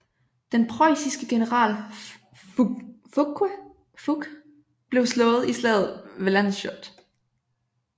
Den preussiske general Fouque blev slået i slaget ved Landshut